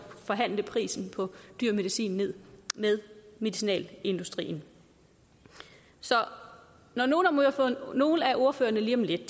forhandle prisen på dyr medicin ned med medicinalindustrien så når nogle nogle af ordførerne lige om lidt